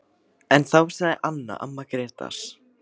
En þá sagði Anna, amma Grétars